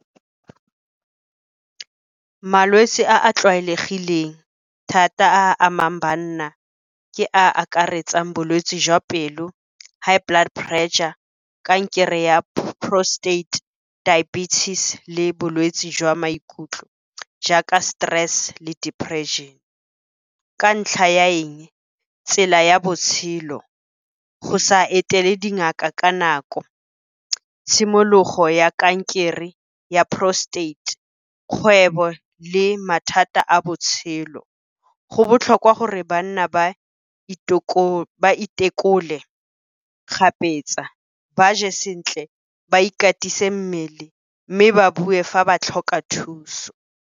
Malwetse a a tlwaelegileng thata a a amang banna ke a akaretsang bolwetse jwa pelo, high blood pressure, kankere ya prostate, diabetes le bolwetse jwa maikutlo jaaka stress le depression. Ka ntlha ya eng? Tsela ya botshelo, go sa etele dingaka ka nako, tshimologo ya kankere ya prostate, kgwebo le mathata a botshelo. Go botlhokwa gore banna ba itekole kgapetsa, ba je sentle, ba ikatise mmele, mme ba bue fa ba tlhoka thuso.